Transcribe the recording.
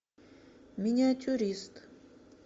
миниатюрист